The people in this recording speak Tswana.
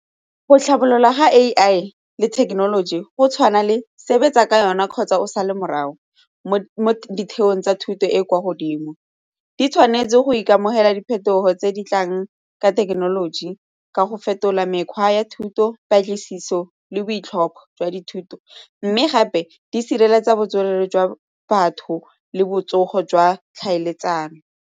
Go tlhabolola ga A_I le thekenoloji go tshwana le sebetsa ka yona kgotsa o sala morago mo ditheong tsa thuto e kwa godimo, di tshwanetse go ikamogela diphetogo tse di tlang ka thekenoloji ka go fetola mekgwa ya thuto, patlisiso le boitlhompho jwa dithuto mme gape di sireletsa botshelo jwa batho le botsogo jwa tlhaeletsano.